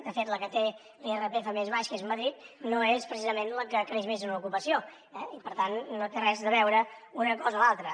de fet la que té l’irpf més baix que és madrid no és precisament la que creix més en ocupació eh i per tant no té res a veure una cosa amb l’altra